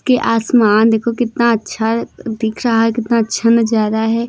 के आसमान देखो कितना अच्छा दिख रहा है कितना अच्छा नजारा है।